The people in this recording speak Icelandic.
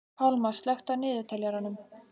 Pálmar, slökktu á niðurteljaranum.